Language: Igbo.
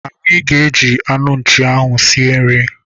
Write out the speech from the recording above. Anyị ga- eji anụ nchi ahụ sie nri.